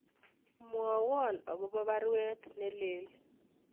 Mwawon agobo baruet nelelach